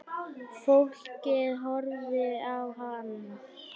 Fólkið horfði á hann.